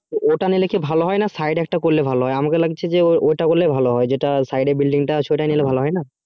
ওটা নিলে কি ভালো হয় না side এ আমাকে লাগছে যে যেটা side এ building আছে ওটাই নিলে ভালো হয় না?